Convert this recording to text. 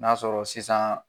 N'a sɔrɔ sisan